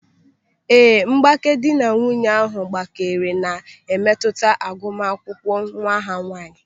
Ee, mgbake dị na nwunye ahụ gbakere na-emetụta agumakwụkwọ nwa ha nwaanyị.